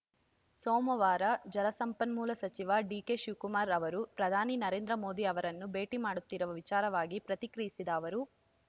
ಸೋಮವಾರ ಜಲಸಂಪನ್ಮೂಲ ಸಚಿವ ಡಿಕೆಶಿವಕುಮಾರ್‌ ಅವರು ಪ್ರಧಾನಿ ನರೇಂದ್ರ ಮೋದಿ ಅವರನ್ನು ಭೇಟಿ ಮಾಡುತ್ತಿರುವ ವಿಚಾರವಾಗಿ ಪ್ರತಿಕ್ರಿಯಿಸಿದ ಅವರು